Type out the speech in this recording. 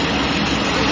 Quraşdırılıb.